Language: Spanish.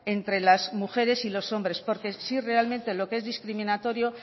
entre las mujeres y los hombres porque sí realmente lo que es discriminatorio